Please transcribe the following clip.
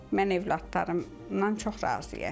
Mən övladlarımdan çox razıyam.